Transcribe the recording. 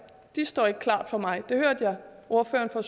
står ikke klart for mig jeg hørte ordføreren for